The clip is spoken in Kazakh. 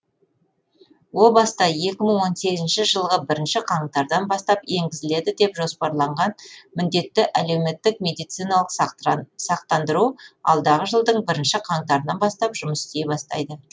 о баста екі мың он сегізінші жылғы бірінші қаңтардан бастап енгізіледі деп жоспарланған міндетті әлеуметтік медициналық сақтандыру алдағы жылдың бірінші қаңтарынан бастап жұмыс істей бастайды